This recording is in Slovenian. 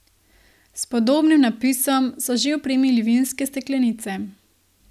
S podobnim napisom so že opremili vinske steklenice.